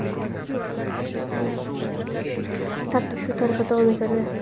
Tartib shu tariqa davom etadi.